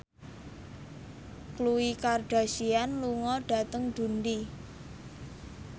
Khloe Kardashian lunga dhateng Dundee